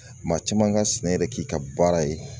Maa caman ka sɛnɛ yɛrɛ k'i ka baara ye